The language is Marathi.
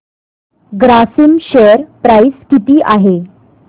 ग्रासिम शेअर प्राइस किती आहे